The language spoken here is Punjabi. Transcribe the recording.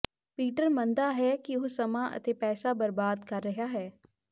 ਪੀਟਰ ਮੰਨਦਾ ਹੈ ਕਿ ਉਹ ਸਮਾਂ ਅਤੇ ਪੈਸਾ ਬਰਬਾਦ ਕਰ ਰਿਹਾ ਹੈ